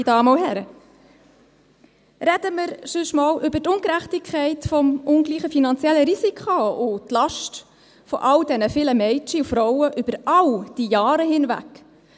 Liebe Damen und Herren, sprechen wir doch einmal über die Ungerechtigkeit des ungleichen finanziellen Risikos und über die Last all dieser vielen Mädchen und Frauen über all diese Jahre hinweg.